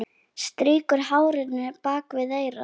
Strýkur hárinu bak við eyrað.